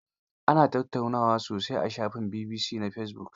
Ana tattaunawa sosai a shafin BBC na fesibuk.